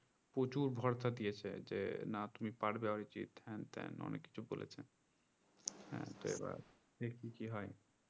প্রচুর ভরসা দিয়েছে যে না তুমি পারবে অরিজিৎ হ্যানত্যান অনেক কিছু বলেছে হ্যা তো এবার দেখি কি হয়